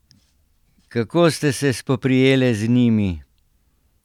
Kako ste se spoprijele z njimi?